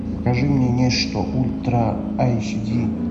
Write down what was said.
покажи мне нечто ультра аш ди